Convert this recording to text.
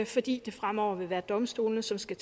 fordi det fremover vil være domstolene som skal